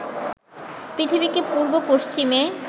পৃথিবীকে পূর্ব পশ্চিমে